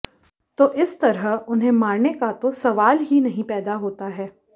तो इस तरह उन्हें मारने का तो सवाल ही नहीं पैदा होता है